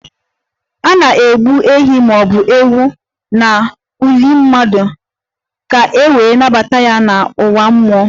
A na-egbu ehi ma ọ bụ ewu n'ili mmadụ ka e wee nabata ya n'ụwa mmụọ